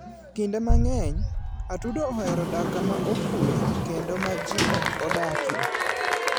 Kinde mang'eny, atudo ohero dak kama okuwe kendo ma ji ok odakie.